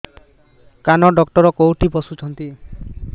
କାନ ଡକ୍ଟର କୋଉଠି ବସୁଛନ୍ତି